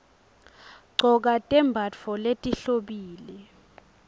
gcoka tembatfo letihlobile